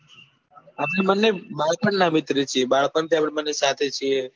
આપણે બંને બાળપણ ના મિત્ર છીએ બાળપણ થી આપડે બંને સાથે છીએ